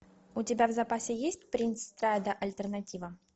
у тебя в запасе есть принц страйда альтернатива